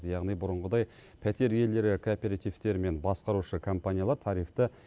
яғни бұрынғыдай пәтер иелері кооперативтер мен басқарушы компаниялар тарифті